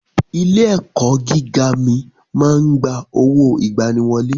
Ilé ẹ̀kọ́ gíga mi máa ń gba owó ìgbaniwọlé.